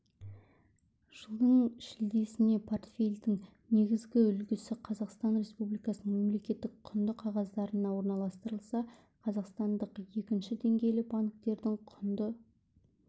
жылдың шілдесіне портфельдің негізгі үлесі қазақстан республикасының мемлекеттік құнды қағаздарына орналастырылса қазақстандық екінші деңгейлі банктердің құнды